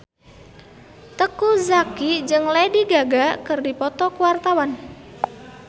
Teuku Zacky jeung Lady Gaga keur dipoto ku wartawan